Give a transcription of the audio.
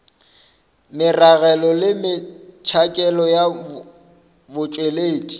meragelo le metšhakelo ya botšweletši